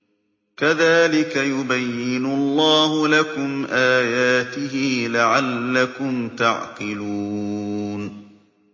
كَذَٰلِكَ يُبَيِّنُ اللَّهُ لَكُمْ آيَاتِهِ لَعَلَّكُمْ تَعْقِلُونَ